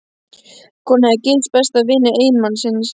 Konan hafði gifst besta vini eiginmannsins.